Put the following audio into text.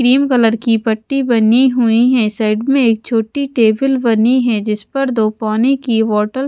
Cream colour की पट्टी बनी हुई है। साइड में एक छोटी टेबल बनी है जिस पर दो पानी की बोतल --